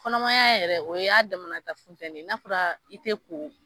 Kɔnɔma y'a yɛrɛ o y'a damanata funtɛnni ye n'a fɔra i te ko